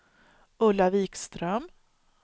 Ulla Vikström